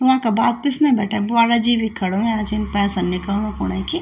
वंका बाद पिछणे भटे बुवाड़ा जी भी खड़ा हुआ च पैसां निकालणु की।